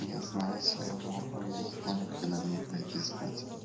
я знаю свою норму я знаю когда мне пойти спать